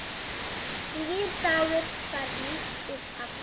Nýr dagur færir nýtt upphaf.